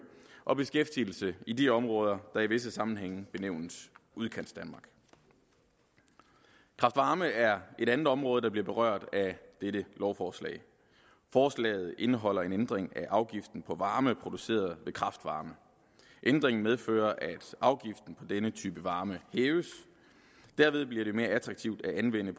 og beskæftigelse i de områder der i visse sammenhænge benævnes udkantsdanmark kraft varme er et andet område der bliver berørt af dette lovforslag forslaget indeholder en ændring af afgiften på varme produceret ved kraft varme ændringen medfører at afgiften på denne type varme hæves derved bliver det mere attraktivt at anvende